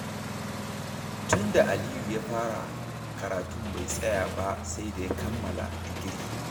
Tun da Aliyu ya fara karatun bai tsaya ba sai da ya kammala digiri.